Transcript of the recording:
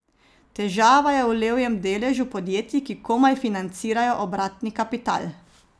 Težava je v levjem deležu podjetij, ki komaj financirajo obratni kapital.